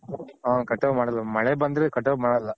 ಹ ಮಾಡಲ್ಲ ಮಳೆ ಬಂದ್ರೆ ಮಾಡಲ್ಲ.